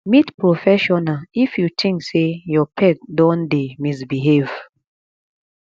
meet professional if you think sey your pet don dey misbehave